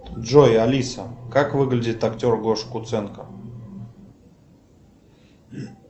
джой алиса как выглядит актер гоша куценко